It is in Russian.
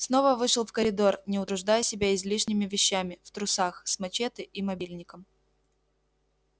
снова вышел в коридор не утруждая себя излишними вещами в трусах с мачете и мобильником